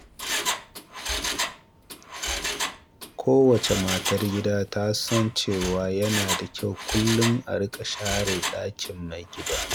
Kowace matar gida ta san cewa yana da kyau kullum a riƙa share ɗakin mai gida.